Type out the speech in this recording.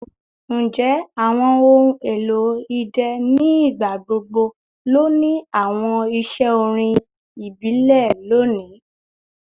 Njẹ awọn ohun elo idẹ ni igbagbogbo lo ni awọn iṣẹ orin ibile loni?